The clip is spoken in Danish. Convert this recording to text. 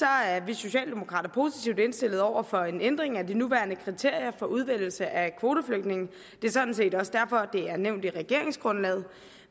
er vi socialdemokrater positivt indstillet over for en ændring af de nuværende kriterier for udvælgelse af kvoteflygtninge det er sådan set også derfor at det er nævnt i regeringsgrundlaget